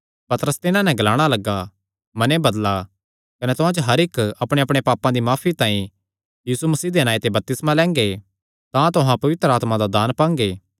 पतरस तिन्हां नैं ग्लाणा लग्गा मने बदला कने तुहां च हर इक्क अपणेअपणे पापां दी माफी तांई यीशु मसीह दे नांऐ ते बपतिस्मा लैंगे तां तुहां पवित्र आत्मा दा दान पांगे